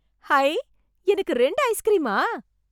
high... எனக்கு ரெண்டு ஐஸ்க்ரீமா...